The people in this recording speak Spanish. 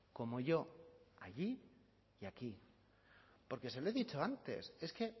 como yo allí y aquí porque se lo he dicho antes es que